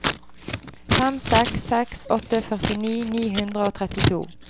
fem seks seks åtte førtini ni hundre og trettito